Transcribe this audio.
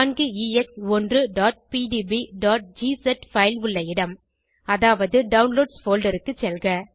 4ex1pdbஜிஸ் file உள்ள இடம் அதாவது டவுன்லோட்ஸ் போல்டர் க்கு செல்க